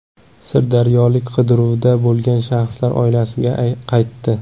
Sirdaryolik qidiruvda bo‘lgan shaxslar oilasiga qaytdi.